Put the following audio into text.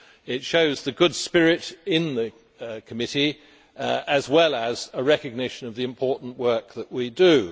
It shows the good spirit in the committee, as well as a recognition of the important work that we do.